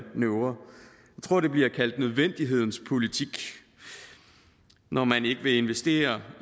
tror det bliver kaldt nødvendighedens politik når man ikke vil investere